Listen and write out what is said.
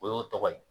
O y'o tɔgɔ ye